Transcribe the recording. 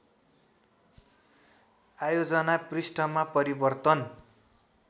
आयोजना पृष्ठमा परिवर्तन